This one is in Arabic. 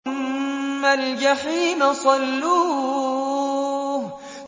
ثُمَّ الْجَحِيمَ صَلُّوهُ